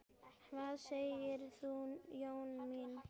Hvað segir þú, Jóna mín?